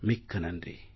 மிக்க நன்றி